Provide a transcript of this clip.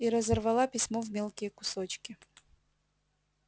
и разорвала письмо в мелкие кусочки